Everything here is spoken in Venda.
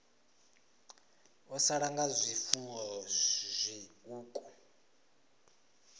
vho sala nga zwifuwo zwiṱuku